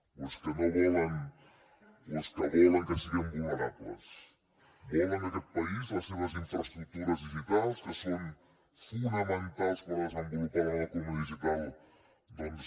o és que volen que siguem vulnerables volen que aquest país les seves infraestructures digitals que són fonamentals per desenvolupar la nova economia digital doncs